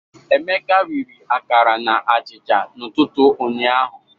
Emeka riri akara na achịcha n'ụtụtụ ụnyaahụ.